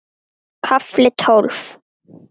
KAFLI TÓLF